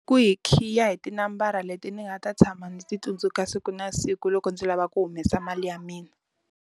Ku hi khiya hi tinambara leti ndzi nga ta tshama ndzi ti tsundzuka siku na siku loko ndzi lava ku humesa mali ya mina.